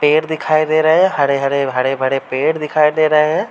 पेड़ दिखाई दे रहें हैं। हरे-हरे भरे-भरे पेड़ दिखाई दे रहें हैं।